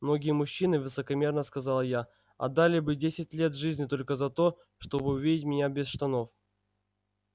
многие мужчины высокомерно сказала я отдали бы десять лет жизни только за то чтобы увидеть меня без штанов